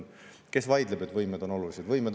Kes vaidleb, et võimed on olulised?